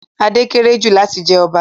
Ade kéré jù láti jẹ ọba